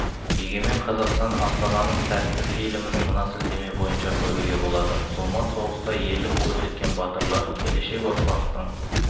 егеменқазақстан астананың сәті фильмін мына сілтеме бойынша көруге болады зұлмат соғыста ерлік көрсеткен батырлар келешек ұрпақтың